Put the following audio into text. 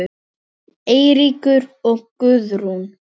Eiríkur og Guðrún.